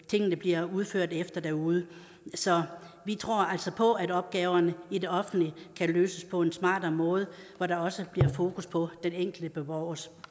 tingene bliver udført efter derude så vi tror altså på at opgaverne i det offentlige kan løses på en smartere måde hvor der også bliver fokus på den enkelte borgers